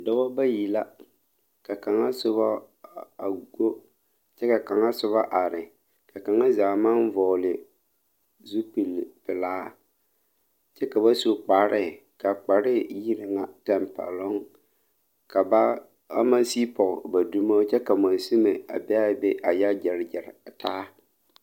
Dɔba bayi la ka kaŋa soba a go kyɛ ka kaŋa na soba a are ka kaŋa zaa maŋ vɔgle zupilpelaa kyɛ ka ba su kpare ka a kpare yi ŋa tampɛloŋ ka ba a maŋ sigi pɔge ba dumo kyɛ ka mansunmo a be a be a yɔ gyere gyere a taa.